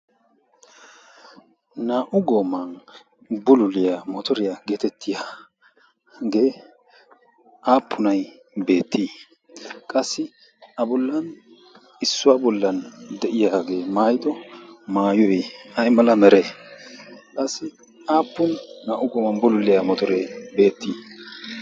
naa"u gooman bululiyaa mootoriyaa geetettiyaagee aappunai beettii qassi a bollan issuwaa bollan de'iyaagee maayido maayuee ay mala mere qassi aappun naa"u gooman bululiyaa motoree beettii?